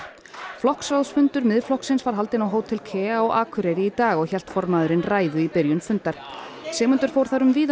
flokksráðsfundur Miðflokksins var haldinn á Hótel KEA á Akureyri í dag og hélt formaðurinn ræðu í byrjun fundar Sigmundur fór þar um víðan